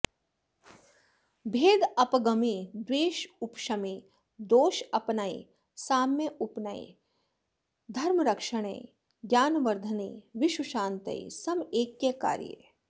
भेदापगमे द्वेषोपशमे दोषापनये साम्योपनये धर्मरक्षणे ज्ञानवर्धने विश्वशान्तये समैक्यकार्ये